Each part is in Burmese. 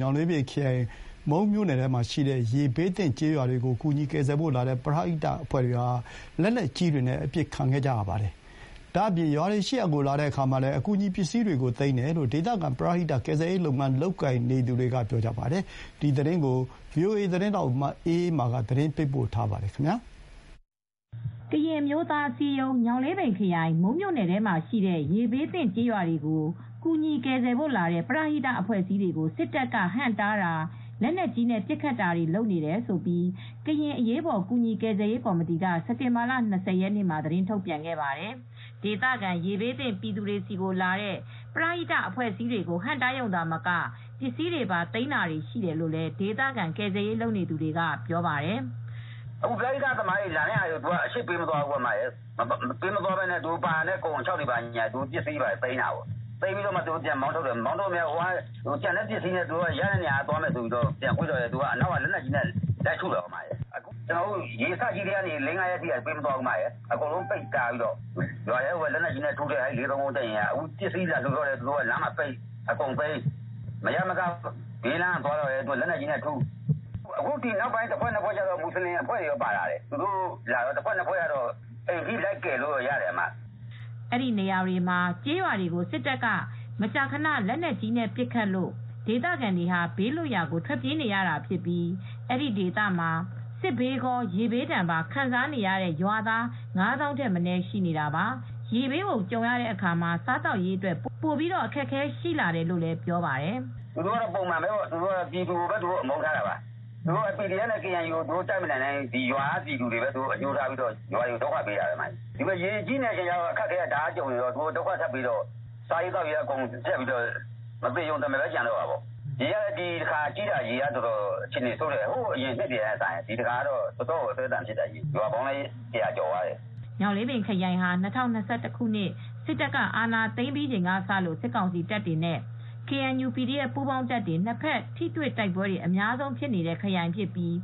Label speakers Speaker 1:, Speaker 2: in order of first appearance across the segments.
Speaker 1: ညောင်လေးပင်ခရိုင်၊ မူး မြို့နယ်ထဲမှာရှိတဲ့ရေဘေးသင့် ကျေးရွာတွေကို ကူညီကယ်ဆယ်ဖို့လာတဲ့ ပရဟိတအဖွဲ့အစည်းတွေကို မုန်းမြို့နယ် စစ်တောင်းအနောက်ဘက်ခြမ်း ကညွတ်ကွင်းအခြေစိုက်ခမရ-၄၃၉ စစ်တပ်ကဟန့်တားတာ၊ လက်နက်ကြီးနဲ့ပစ်တာတွေလုပ်တယ်လို့ ဒေသခံပရဟိကယ်ဆယ်ရေး လုပ်ငန်းလုပ်ကိုင်နေသူတွေကဆိုပါတယ်။ ဒီသတင်းကို ဗွီအိုအေ သတင်းထောက် မအေးအေးမာကသတင်းပေးပို့ထားပါတယ်။ ကရင်အမျိုးသားအစည်းအရုံး၊ ညောင်လေးပင်ခရိုင်၊ မူး မြို့နယ်ထဲမှာရှိတဲ့ရေဘေးသင့်ကျေးရွာတွေကို ကူညီကယ်ဆယ်ဖို့လာတဲ့ ပရဟိတအဖွဲ့အစည်းတွေကို စစ်တပ်ကဟန့်တားတာ၊ လက်နက်ကြီးနဲ့ပစ်ခတ်တာလုပ်တယ်လို့ ကရင်အရေးပေါ် ကူညီကယ်ဆယ်ရေး ကော်မတီက စက်တင်ဘာ ၂၀ ရက်မှာသတင်းထုတ်ပြန်ခဲ့ပါတယ်။ ဒေသခံရေဘေးသင့်ပြည်သူတွေဆီကိုလာတဲ့ ပရဟိတအဖွဲ့အစည်းတွေကို ဟန့်တားရုံသာမက ပစ္စည်းတွေသိမ်းတာတွေပါရှိတယ်လို့လည်း ဒေသခံကယ်ဆယ်ရေးလုပ်နေသူတွေက ပြောပါတယ်။ “အခု ပရဟိတ
Speaker 2: လာတဲ့သူတွေကို သူက ရွာတွေရှိရာနေရာတွေကိုအရှေ့ကို ပေးမသွားဘူး။ ပါလာတဲ့ကုန်ခြောက်တွေ၊ အခြောက်အခြမ်းတွေကို ပစ္စည်းတွေလိုက်သိမ်းပစ်တယ်။ အဲဒီလိုသိမ်းပြီး သူတို့က ပြန်မောင်းထုတ်တယ်။ ရတဲ့ပစ္စည်းနဲ့ တခြားလမ်းကသွားမယ်ဆိုတော့လည်း သူတို့က သွားတဲ့လမ်းတွေကို အနောက်ကနေလက်နက်ကြီးနဲ့ လှမ်းထုတယ်။ ရေစကြီးကတည်းက လေးငါးရက်အထိ ပေးမသွားဘူး။ အကုန်လုံးပိတ်တားတယ်။ ရွာထဲကိုပဲလက်နက်ကြီးနဲ့ ပစ်ထုတယ်။ အဲဒီ ၄၃၉ စစ်တပ်ကပေါ့။ ရွာထဲကိုနောက်ပိုင်းလာတဲ့သူတွေထဲမှာတော့ မူဆလင်အဖွဲ့တချို့လည်းပါလာတယ်။သူတို့လာတဲ့ တဖွဲ့နှစ်ဖွဲ့ကတော့ အိမ်တွေထိ လိုက်ကယ်ဆယ်ကြတယ်။”
Speaker 1: အဲဒီနေရာတွေမှာ ကျေးရွာတွေကို စစ်တပ်က မကြာခဏ လက်နက်ကြီးနဲ့ပစ်ခတ်လို့ ဒေသခံတွေဘေးလွတ်ရာကိုထွက်ပြေးနေရတာဖြစ်ပြီး အဲဒီဒေသမှာ စစ်ဘေးကော၊ ရေဘေးဒဏ်ပါခံစားနေရတဲ့ရွာသား ၅၀,၀၀၀ ထက်မနည်းရှိနေတာပါ။ စစ်ဘေးကြုံနေချိန် ထပ်ပြီးတော့ ရေဘေး ကြုံလာတဲ့အခါမှာ စားသောက်ရေးအတွက် ပိုပြီးတော့အခက်အခဲရှိလာတယ်လို့လည်းပြောပါတယ်။
Speaker 2: “သူတို့ က ပုံမှန်ပဲ ပြည်သူကိုပဲအမုန်းထားပြီး ဒုက္ခပေးတာပါ။ သူတို့က PDF နဲ့ KNU ကို မတိုက်နိုင်ဘဲ ရွာကပြည်သူတွေကိုပဲ ဒုက္ခပေးတာ ဒီမှာက ရေတွေကြီးနေတော့လူတွေလည်းအကုန်ဒုက္ခရောက်နေကြတုန်း သူတို့က ဒုက္ခထပ်ပေးတော့ စာရေးသောက်ရေး ကြပ်တည်းပြီး လူတွေကမသေရုံတမယ်ပဲကျန်တော့တယ်။ ဒီတခါရေကြီးတာကလည်းတော်တော်အခြေအနေဆိုးတယ်။ ဟိုအရင်နှစ်တွေကထက် ပိုဆိုးတယ်။ တော်တော်လည်း အသည်းအသန်ဖြစ်တယ်။ ရေကြီးတာ ရွာပေါင်းလည်း ၁၀၀ ကျော်သွားပြီ
Speaker 1: ။” ညောင်လေးပင်ခရိုင်ဟာ ၂၀၂၁ ခုနှစ် စစ်အာဏာသိမ်းပြီးချိန်ကစလို့ စစ်ကောင်စီတပ်တွေနဲ့ KNU, PDF ပူးပေါင်းတပ်တွေ နှစ်ဖက်ထိတွေ့ တိုက်ပွဲတွေ အများဆုံးဖြစ်တဲ့ခရိုင်ဖြစ်ပြီး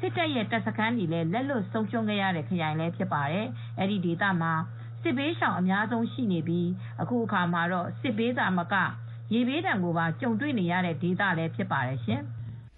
Speaker 1: စစ်တပ်ရဲ့ တပ်စခန်းတွေလည်း လက်လွှတ်ဆုံးရှုံးရတဲ့ခရိုင်လည်းဖြစ်ပါတယ်။ အဲဒီဒေသမှာ စစ်ဘေးရှောင်အများဆုံးရှိနေပြီး အခုအခါမှာတော့ စစ်ဘေးသာမက ရေဘေးဒဏ်ကိုပါကြုံတွေ့နေရတဲ့ဒေသလည်း ဖြစ်ပါတယ်ရှင်။